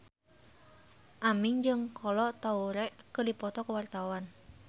Aming jeung Kolo Taure keur dipoto ku wartawan